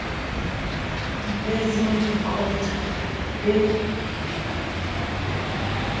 di basin di contour le